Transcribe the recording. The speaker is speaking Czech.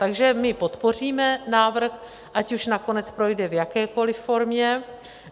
Takže my podpoříme návrh, ať už nakonec projde v jakékoli formě.